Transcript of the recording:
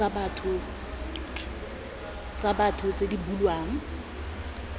tsa batho tse di bulwang